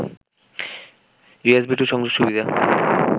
USB two সংযোগ সুবিধা